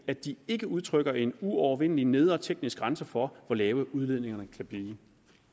at de ikke udtrykker en uovervindelig nedre teknisk grænse for hvor lave udledningerne kan blive